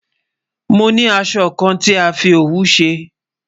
Mo ni àsọ̀ kàn tí a fi ọwù ṣẹ